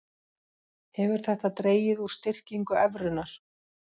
Hefur þetta dregið úr styrkingu evrunnar